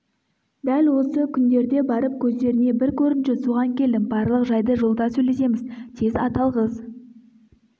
дәл осы күндерде барып көздеріне бір көрінші соған келдім барлық жайды жолда сөйлесеміз тез ат алғыз